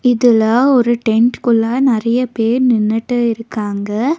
இதுல ஒரு டென்ட்குள்ள நெறைய பேர் நின்னுட்டு இருக்காங்க.